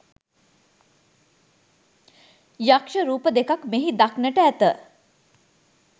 යක්‍ෂ රූප දෙකක් මෙහි දක්නට ඇත.